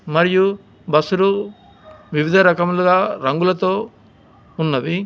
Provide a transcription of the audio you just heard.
మరియు బస్సులు వివిధ రకములుగా రంగులతో ఉన్నవి.